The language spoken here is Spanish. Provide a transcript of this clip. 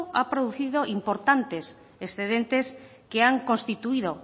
ha producido importantes excedentes que han constituido